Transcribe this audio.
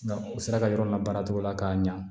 U sera ka yɔrɔ la baaratogo la k'a ɲa